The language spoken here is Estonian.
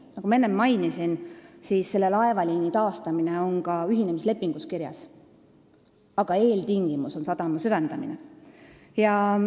Nagu ma enne mainisin, selle laevaliini taastamine on ka ühinemislepingus kirjas, aga eeltingimus on sadama süvendamine.